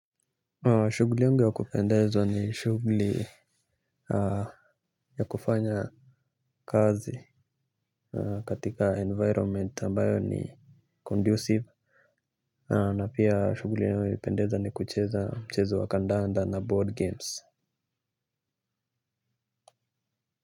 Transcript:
Shughuli yangu ya kupendezwa ni shughuli ya kufanya kazi katika environment ambayo ni conducive. Na pia shughuli inayonipendeza ni kucheza mchezo wa kandanda na board games.